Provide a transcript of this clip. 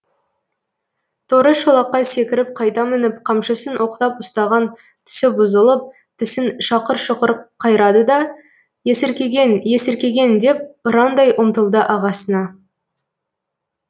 торы шолаққа секіріп қайта мініп қамшысын оқтап ұстаған түсі бұзылып тісін шақыр шұқыр қайрады да есіркеген есіркеген деп ұрандай ұмтылды ағасына